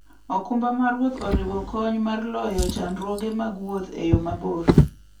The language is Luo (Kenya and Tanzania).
okumba mar wuoth oriwo kony mar loyo chandruoge mag wuoth e yo maber.